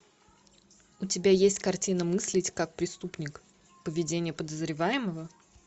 у тебя есть картина мыслить как преступник поведение подозреваемого